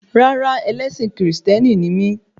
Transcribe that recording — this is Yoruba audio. Rárá, ẹlẹ́sìn kìrìsìtẹ́nì ni mí